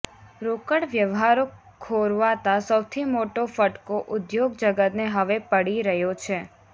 રોકડ વ્યવહારો ખોરવાતા સૌથી મોટો ફટકો ઉદ્યોગ જગતને હવે પડી રહ્યો છે